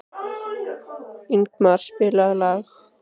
Ingmar, spilaðu lag.